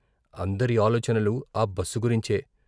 అందరి ఆలోచనలు ఆ బస్సు గురించే.